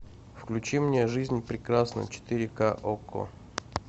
включи мне жизнь прекрасна четыре ка окко